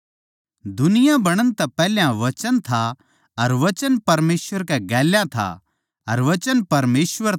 दुनिया बणण तै पैहल्या वचन था अर वचन परमेसवर गेल्या था अर वचन परमेसवर था